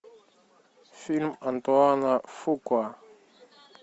фильм антуана фукуа